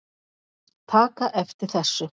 taka eftir þessu